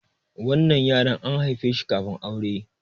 wannan yaron an haife shi kafin aure